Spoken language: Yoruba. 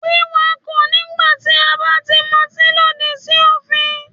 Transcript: Wíkakọ̀ nígbà tí a bá ti motín lòdì sí òfin.